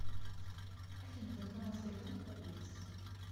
афина банкомат сбербанк поблизости